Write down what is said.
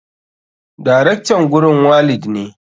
Darektan gurin walid ne.